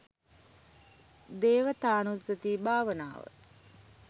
දේවතානුස්සති භාවනාව.